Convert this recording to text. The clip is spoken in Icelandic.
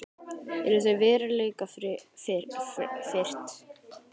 Eru þau veruleikafirrt?